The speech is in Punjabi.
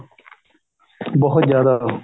ਬਹੁਤ ਜਿਆਦਾ